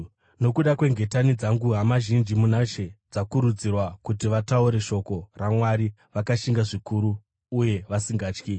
Nokuda kwengetani dzangu, hama zhinji muna She dzakakurudzirwa kuti vataure shoko raMwari vakashinga zvikuru uye vasingatyi.